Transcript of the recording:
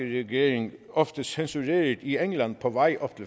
regering ofte censureret i england på vej op